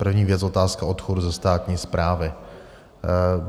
První věc - otázka odchodu ze státní správy.